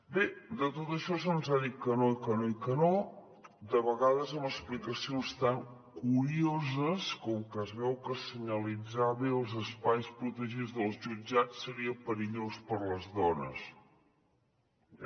bé de tot això se’ns ha dit que no que no i que no de vegades amb explicacions tan curioses com que es veu que senyalitzar bé els espais protegits dels jutjats seria perillós per a les dones ja em diran per què